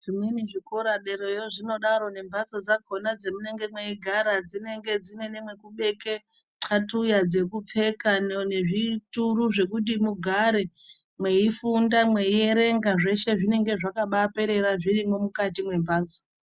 Zvimweni zvikora derayo zvinodaro nemhatso dzakona dzemunenge mweigara dzinenge dzine neyo mwekubeke nexatuya dzekupfeka nezvituru zvekuti mugare mweifunda, mweierenga. Zveshe zvinenge zvakabaaperera zvirimwo mukati mwembatso.